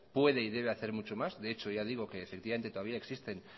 puede y debe hacer mucho más de hecho ya digo que todavía existen